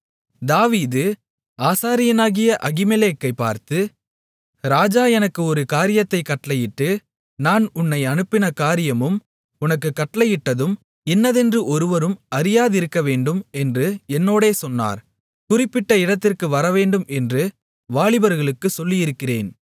தாவீது ஆசாரியனாகிய அகிமெலேக்கைப் பார்த்து ராஜா எனக்கு ஒரு காரியத்தைக் கட்டளையிட்டு நான் உன்னை அனுப்பின காரியமும் உனக்குக் கட்டளையிட்டதும் இன்னதென்று ஒருவரும் அறியாதிருக்கவேண்டும் என்று என்னோடே சொன்னார் குறிப்பிட்ட இடத்திற்கு வரவேண்டும் என்று வாலிபர்களுக்கு சொல்லியிருக்கிறேன்